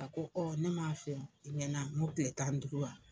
A ko ne m'a f'i ye i ɲɛna a ŋo tile tan duuru wa?